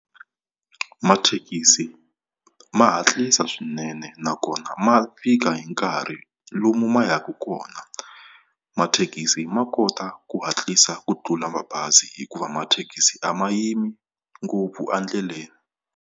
Mathekisi ma hatlisa swinene nakona ma fika hi nkarhi lomu ma ya ka kona. Mathekisi ma kota ku hatlisa ku tlula mabazi hikuva mathekisi a ma yimi ngopfu endleleni.